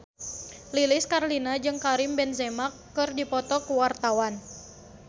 Lilis Karlina jeung Karim Benzema keur dipoto ku wartawan